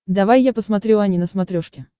давай я посмотрю ани на смотрешке